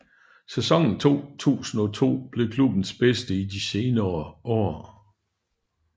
Sæsonen 2002 blev klubbens bedste i de seneste år